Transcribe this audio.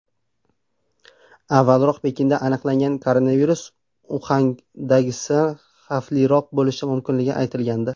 Avvalroq Pekinda aniqlangan koronavirus Uxandagisidan xavfliroq bo‘lishi mumkinligi aytilgandi.